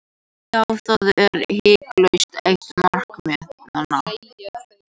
Já, það er hiklaust eitt markmiðanna.